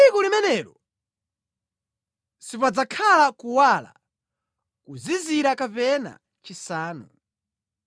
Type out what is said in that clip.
Tsiku limenelo sipadzakhala kuwala, kuzizira kapena chisanu.